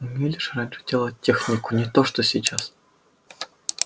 умели же раньше делать технику не то что сейчас